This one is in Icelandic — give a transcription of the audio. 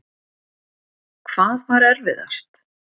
Hvað var erfiðast?